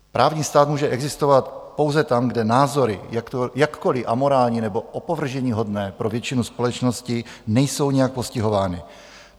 Právní stát může existovat pouze tam, kde názory, jakkoliv amorální nebo opovrženíhodné pro většinu společnosti, nejsou nijak postihovány.